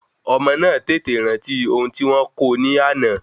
Ọmọ náà tètè rántí oun tí wọ́n kó o ní àná